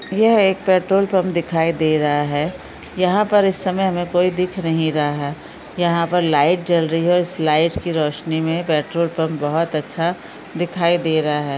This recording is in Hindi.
यह एक पेट्रोल पंप दिखाई दे रहा है यहाँ पर इस समय हमे कोई दिख नहीं रहा है यहाँ पर लाइट जल रही है और लाइट की रोशनीमे पेट्रोल पंप बहुत अच्छा दिखाई दे रहा है।